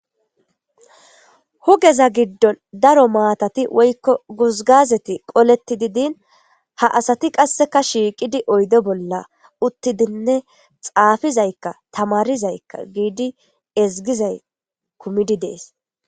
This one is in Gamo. Hugeza giddon daro maatati woykko guzgazeti qoleti didin ha asati qasseka shiiqidi oydo bolla uttidinne xaafizaykka tamarizaykka giidi ezgizay kumidi dees.